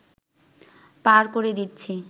পার করে দিচ্ছি